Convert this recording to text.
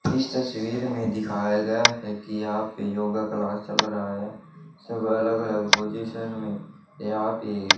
इस तस्वीर में दिखाया गया है कि यहां पे योगा क्लास चल रहा है सब अलग अलग पोजीशन में यहां पे--